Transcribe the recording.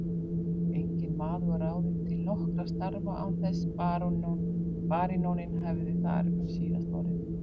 Enginn maður var ráðinn til nokkurra starfa án þess baróninn hefði þar um síðasta orðið.